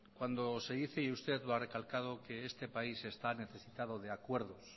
cuando se dice y usted lo ha recalcado que este país está necesitado de acuerdos